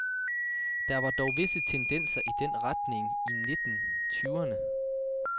Der var dog visse tendenser i den retning i nitten tyverne.